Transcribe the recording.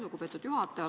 Lugupeetud juhataja!